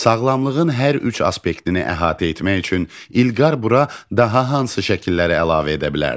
Sağlamlığın hər üç aspektini əhatə etmək üçün İlqar bura daha hansı şəkilləri əlavə edə bilərdi?